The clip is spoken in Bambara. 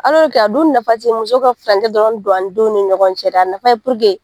alɔrike a dun nafa ti muso ka furankɛ dɔrɔn don a denw ni ɲɔgɔn cɛ a nafa ye puruke